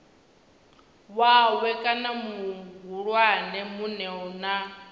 wawe kana muhulwane munwe na